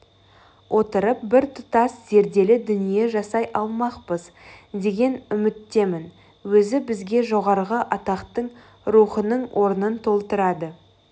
отырып біртұтас зерделі дүние жасай алмақпыз деген үміттемін өзі бізге жоғарғы атақтың рухының орнын толтырады